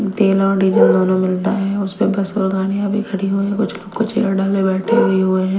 तेल और डीजल दोनों मिलता है उसमें बस और गाड़ियां भी खड़ी हुई है कुछ लोग को चेयर डाले बैठे हुए हुए हैं।